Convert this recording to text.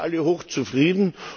Dann sind wir alle hochzufrieden.